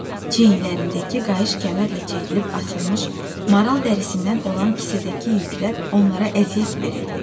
Çiyinlərindəki qayış kəmərlə çəkilib asılmış maral dərisindən olan kisədəki yüklər onlara əziyyət verirdi.